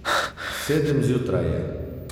Sedem zjutraj je.